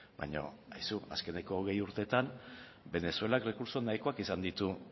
baina aizu azkeneko hogei urteetan venezuelak errekurtso nahikoak izan ditu